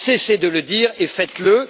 Cessez de le dire et